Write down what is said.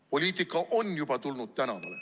Poliitika on juba tulnud tänavale.